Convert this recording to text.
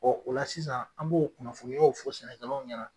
o la sisan an b'o kunnafoniyaw fɔ sɛnɛkɛlaw ɲɛna